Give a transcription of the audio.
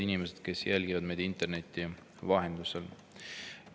Head inimesed, kes jälgivad meid interneti vahendusel!